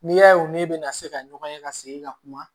N'i y'a ye u ni ne bɛna se ka ɲɔgɔn ye ka segin ka kuma